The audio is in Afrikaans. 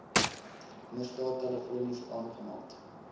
misdaad telefonies aangemeld